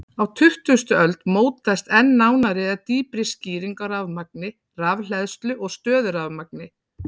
Á tuttugustu öld mótaðist enn nánari eða dýpri skýring á rafmagni, rafhleðslu og stöðurafmagni.